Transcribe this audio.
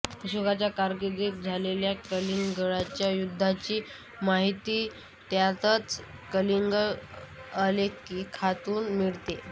अशोकाच्या कारकीर्दीत झालेल्या कलिंगच्या युद्धाची माहिती त्याच्याच कलिंग आलेखातून मिळते